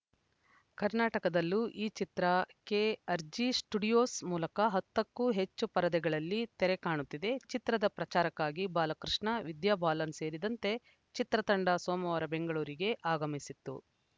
ಕರ್ನಾಟಕದಲ್ಲೂ ಈ ಚಿತ್ರ KRG studios ಮೂಲಕ ಹತ್ತಕ್ಕೂ ಹೆಚ್ಚು ಪರದೆಗಳಲ್ಲಿ ತೆರೆ ಕಾಣುತ್ತಿದೆ ಚಿತ್ರದ ಪ್ರಚಾರಕ್ಕಾಗಿ ಬಾಲಕೃಷ್ಣ ವಿದ್ಯಾಬಾಲನ್‌ ಸೇರಿದಂತೆ ಚಿತ್ರತಂಡ ಸೋಮವಾರ ಬೆಂಗಳೂರಿಗೆ ಆಗಮಿಸಿತ್ತು